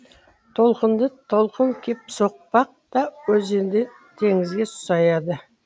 толқынды толқын кеп соқпақ та өзен де теңізге саяды